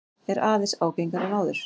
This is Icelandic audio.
Er aðeins ágengari en áður.